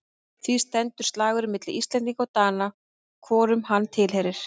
Því stendur slagurinn milli Íslendinga og Dana hvorum hann tilheyrir.